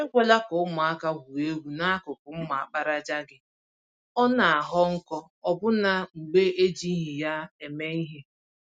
Ekwela ka ụmụaka gwuo egwu n'akụkụ mma àkpàràjà gị - ọ naghọ nkọ ọbụna mgbe ejighi ya eme ìhè.